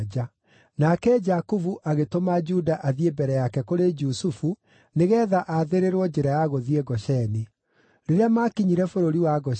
Nake Jakubu agĩtũma Juda athiĩ mbere yake kũrĩ Jusufu nĩgeetha athĩrĩrwo njĩra ya gũthiĩ Gosheni. Rĩrĩa maakinyire bũrũri wa Gosheni,